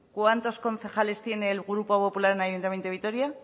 cuántos concejales tiene el grupo popular en el ayuntamiento de vitoria